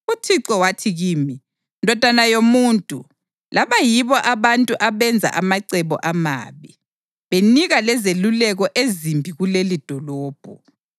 UThixo wathi kimi, “Ndodana yomuntu, laba yibo abantu abenza amacebo amabi, benika lezeluleko ezimbi kulelidolobho.